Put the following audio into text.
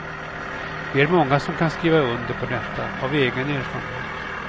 Vi är många som kan skriva under på detta, av egen erfarenhet.